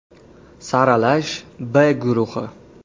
Saralash “B” guruhi.